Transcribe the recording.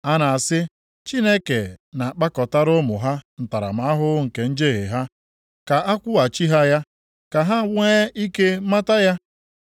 A na-asị, ‘Chineke na-akpakọtara ụmụ ha ntaramahụhụ nke njehie ha.’ Ka a kwụghachi ha ya, ka ha nwee ike mata ya.